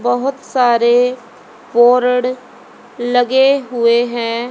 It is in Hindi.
बहोत सारे बोर्ड लगे हुए है।